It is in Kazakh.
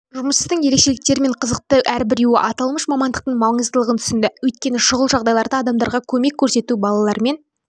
жұмыстың ерекшеліктерімен қызықты әрбіреуі аталмыш мамандықтың маңыздылығын түсінді өйткені шұғыл жағдайларда адамдарға көмек көрсету балалармен